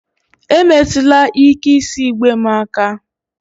Emetụla ike isi igbe m aka!